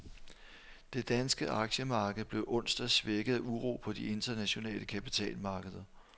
Det danske aktiemarked blev onsdag svækket af uro på de internationale kapitalmarkeder.